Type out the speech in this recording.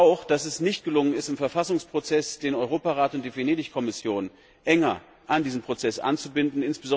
Ich bedaure auch, dass es nicht gelungen ist, im Verfassungsprozess den Europarat und die Venedig Kommission enger in diesen Prozess einzubinden.